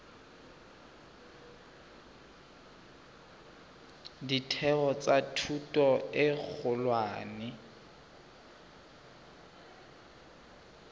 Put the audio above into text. ditheo tsa thuto e kgolwane